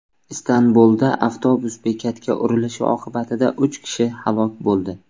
Istanbulda avtobus bekatga urilishi oqibatida uch kishi halok bo‘ldi.